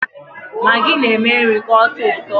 Magi na-eme nri ka ọtọ ụtọ.